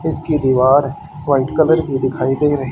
इसकी दीवार white colour की दिखाई दे रहीं--